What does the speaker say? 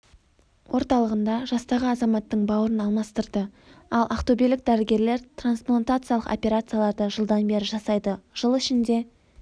орталығында жастағы азаматтың бауырын алмастырды ал ақтөбелік дәрігерлер трансплантациялық операцияларды жылдан бері жасайды жыл ішінде